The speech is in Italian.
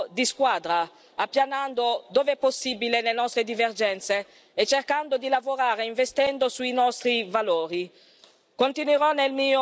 Abbiamo svolto un lavoro di squadra, appianando dove è possibile le nostre divergenze e cercando di lavorare investendo sui nostri valori.